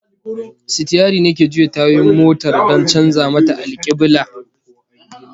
Sitiyari ne ke juya tayoyin motar don canza mata alkiblah